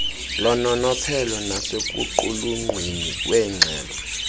lononophelo nasekuqulunqweni kweengxelo